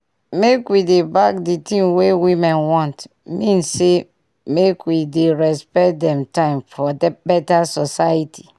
make we dey back d tin wey women want mean say make we dey respect dem time for beta society